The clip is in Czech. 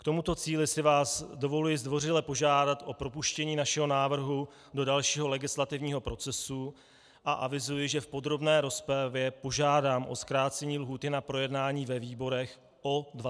K tomuto cíli si vás dovoluji zdvořile požádat o propuštění našeho návrhu do dalšího legislativního procesu a avizuji, že v podrobné rozpravě požádám o zkrácení lhůty na projednání ve výborech o 20 dnů.